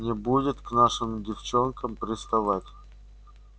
не будет к нашим девчонкам приставать